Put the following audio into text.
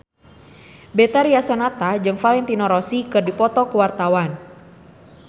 Betharia Sonata jeung Valentino Rossi keur dipoto ku wartawan